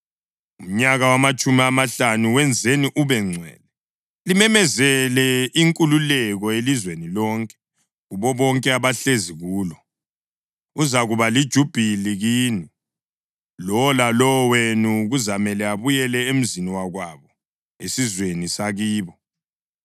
Umnyaka wamatshumi amahlanu wenzeni ube ngcwele, limemezele inkululeko elizweni lonke kubo bonke abahlezi kulo. Uzakuba lijubhili kini. Lowo lalowo wenu kuzamele abuyele emzini wakwabo, esizweni sakibo.